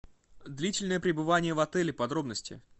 длительное пребывание в отеле подробности